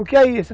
O que é isso?